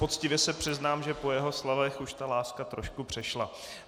Poctivě se přiznám, že po jeho slovech už ta láska trošku přešla.